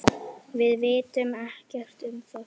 Við vitum ekkert um það.